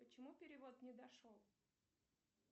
почему перевод не дошел